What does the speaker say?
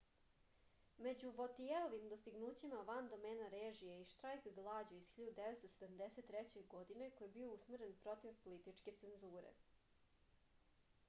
među votijeovim dostignućima van domena režije je i štrajk glađu iz 1973. godine koji je bio usmeren protiv političke cenzure